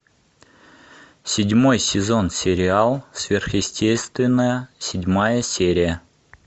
седьмой сезон сериал сверхъестественное седьмая серия